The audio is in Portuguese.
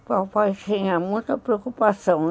O papai tinha muita preocupação.